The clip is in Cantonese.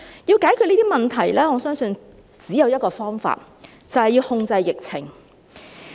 要解決這些問題，我相信只有一個方法，便是要控制疫情。